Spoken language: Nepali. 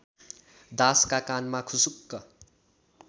दासका कानमा खुसुक्क